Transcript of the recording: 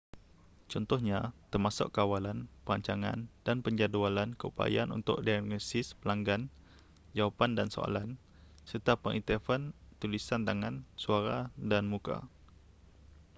contohnya termasuk kawalan perancangan dan penjadualan keupayaan untuk diagnosis pelanggan jawapan dan soalan serta pengiktirafan tulisan tangan suara dan muka